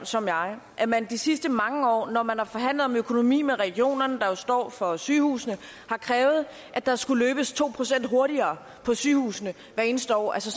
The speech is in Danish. som jeg at man de sidste mange år når man har forhandlet om økonomi med regionerne der jo står for sygehusene har krævet at der skulle løbes to procent hurtigere på sygehusene hvert eneste år altså